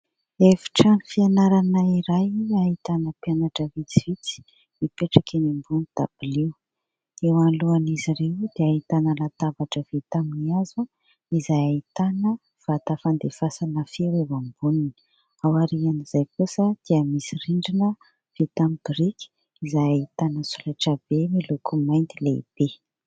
Efitrano fianarana iray ahitana mpianatra vitsivitsy mipetraka eny ambony dabilio. Eo alohan'izy ireo dia ahitana latabatra vita amin'ny hazo izay ahitana vata fandefasana feo eo amboniny. Ao aorian'izay kosa dia misy rindrina vita amin'ny biriky izay ahitana solaitrabe miloko mainty lehibe.